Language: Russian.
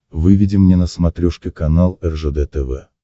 выведи мне на смотрешке канал ржд тв